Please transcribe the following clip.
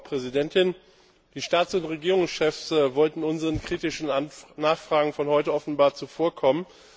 Frau Präsidentin! Die Staats und Regierungschefs wollten unseren kritischen Nachfragen von heute offenbar zuvorkommen.